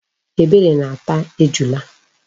Ebere na-ata Ejula